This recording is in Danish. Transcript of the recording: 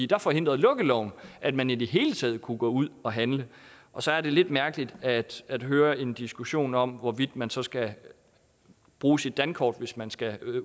der forhindrede lukkeloven at man i det hele taget kunne gå ud og handle og så er det lidt mærkeligt at at høre en diskussion om hvorvidt man så skal bruge sit dankort hvis man skal